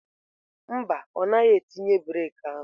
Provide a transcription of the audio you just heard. Mba, ọ naghị etinye breeki ahụ.